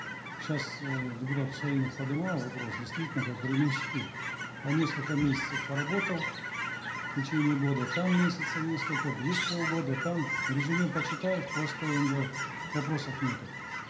сейчас э депутат кусаинов подымал вопрос действительно как временщики по несколько месяцев поработал в течение года там месяцев несколько здесь полгода там резюме почитаешь просто енді вопросов нету